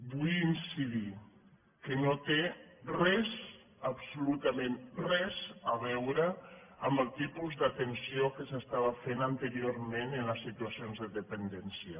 vull incidir que no té res absolutament res a veure amb el tipus d’atenció que s’estava fent anteriorment en les situacions de dependència